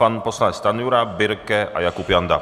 Pan poslanec Stanjura, Birke a Jakub Janda.